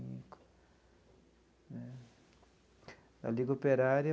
Na Liga Operária,